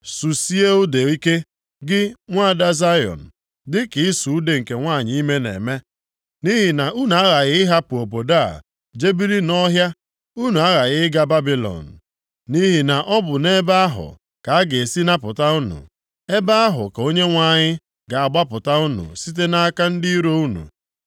Susie ude ike, gị nwaada Zayọn, dịka ịsụ ude nke nwanyị ime na-eme, nʼihi na unu aghaghị ịhapụ obodo a jee biri nʼọhịa. Unu aghaghị ịga Babilọn, nʼihi na ọ bụ nʼebe ahụ ka a ga-esi napụta unu. Ebe ahụ ka Onyenwe anyị ga-agbapụta unu site nʼaka ndị iro unu.